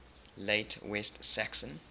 late west saxon